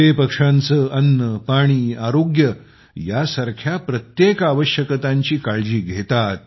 ते पक्ष्यांचे अन्न पाणी आरोग्य यासारख्या प्रत्येक आवश्यकतांची काळजी घेतात